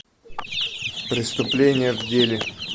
преступление в деле